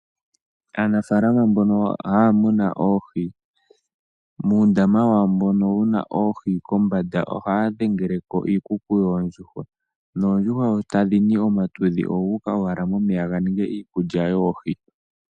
Aanafalama mbono haya muna oohi muundama wawo mbono wuna oohi kombanda ohaa dhengeleko iikuku yoondjujwa noondjuhwa sho tadhi ningi onyata oyuka owala mokandama koohi yo yi wape okulikapo koohi.